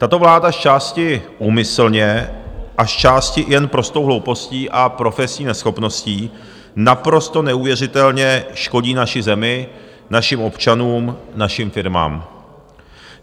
Tato vláda zčásti úmyslně a zčásti jen prostou hloupostí a profesní neschopností naprosto neuvěřitelně škodí naší zemi, našim občanům, našim firmám.